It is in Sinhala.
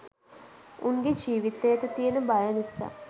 උන්ගේ ජීවිතයට තියන බය නිසා.